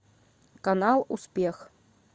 канал успех